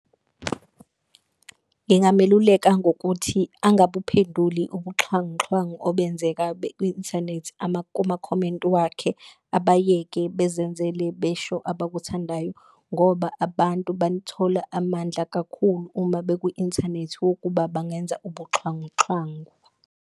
Ngingameluleka ngokuthi angabuphenduli ubuxhwanguxhwangu obenzeka ku-inthanethi kumakhomenti wakhe, abayeke bezenzele besho abakuthandayo. Ngoba abantu banithola amandla kakhulu uma beku-inthanethi wokuba bangenza ubuxhwanguxhwangu.